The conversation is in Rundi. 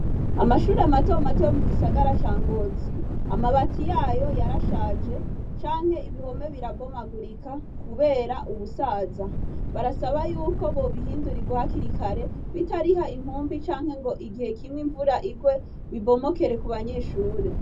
Amashure mato mato yo mu gisagara ca Ngozi, amabati yayo yarashaje canke ibihome birabomagurika kubera ubusaza. Barasaba yuko bobihindurirwa hakiri kare bitariha inkumbi canke ngo igihe kimwe imvura igwe, bibomokere kubanyeshure.